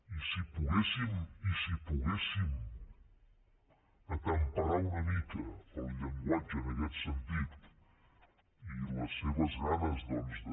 i si poguéssim temperar una mica el llenguatge en aquest sentit i les seves ganes doncs de